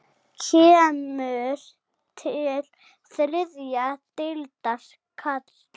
Kemur til þriðju deildar karla?